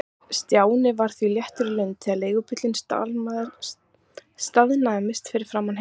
Stjáni var því léttur í lund þegar leigubíllinn staðnæmdist fyrir framan heimili hans.